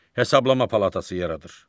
Hesablama palatası yaradır.